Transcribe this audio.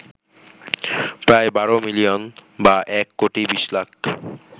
প্রায় ১২ মিলিয়ন বা এক কোটি বিশ লাখ